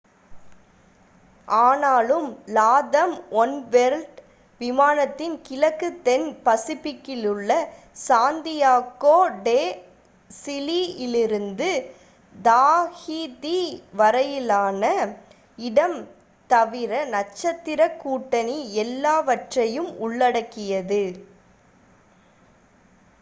ஆனாலும் LATAM oneworld விமானத்தின் கிழக்கு தென் பசிபிக்கிலுள்ள சாந்தியாக்கோ டே சிலி யிலிருந்து தாஹிதி வரையிலான இடம் தவிர நட்சத்திரக் கூட்டணி எல்லாவற்றையும் உள்ளடக்கியது